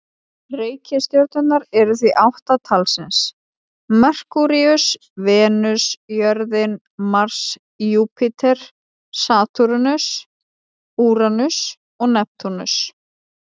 Reikistjörnurnar eru því átta talsins: Merkúríus, Venus, jörðin, Mars, Júpíter, Satúrnus, Úranus og Neptúnus.